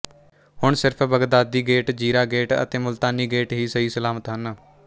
ਹੁਣ ਸਿਰਫ਼ Baghdadi gate Zira gate ਅਤੇ ਮੁਲਤਾਨੀ ਗੇਟ ਹੀ ਸਹੀਸਲਾਮਤ ਹਨ